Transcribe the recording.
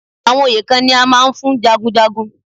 Àwọn oyè kan ni a máa ń fún jagunjagun.